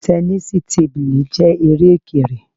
Tẹnísíì tábìlì jẹ́ eré Òkèrè